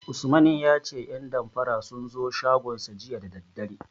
Usman ya ce 'yan damfara sun zo shagonsa jiya da daddare.